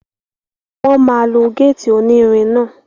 Wọ́n máa lo gétì onírin náà